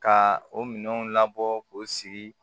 Ka o minɛnw labɔ k'o sigi